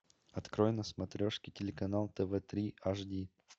открой на смотрешке телеканал тв три аш ди